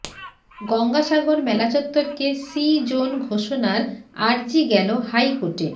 গঙ্গাসাগর মেলাচত্বরকে C zone ঘোষণার আর্জি গেল হাই কোর্টে